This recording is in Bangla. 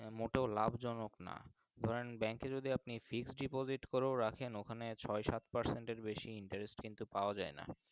মোটেও লাভ জনক না কারণ Bank এ যদি আপনি Fixed deposit করেও রাখেন ওখানে ছয় সাত মাসের বেশি কিন্তু Interest কিন্তু পাওয়া যাই না।